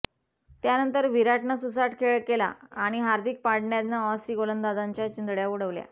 त्यानंतर विराटनं सुसाट खेळ केला आणि हार्दिक पांड्यानं ऑसी गोलंदाजांच्या चिंधड्या उडवल्या